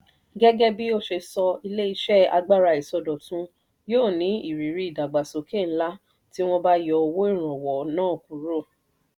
gẹ́gẹ́ bí ó ṣe sọ ilé-iṣẹ́ agbára ìsọdọ̀tun yóò ní ìrírí ìdàgbàsókè ńlá tí wọ́n bá yọ owó-ìrànwọ́ náà kúrò.